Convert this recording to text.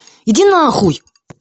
иди на хуй